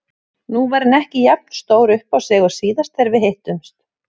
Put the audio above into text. Nú var hann ekki jafn stór uppá sig og síðast þegar við hittumst.